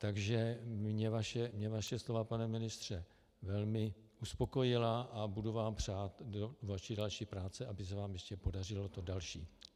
Takže mě vaše slova, pane ministře, velmi uspokojila a budu vám přát do vaší další práce, aby se vám ještě podařilo to další.